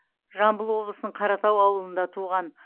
жамбыл облысының қаратау ауылында туған